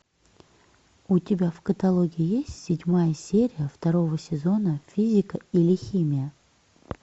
у тебя в каталоге есть седьмая серия второго сезона физика или химия